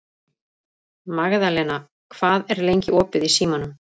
Magðalena, hvað er lengi opið í Símanum?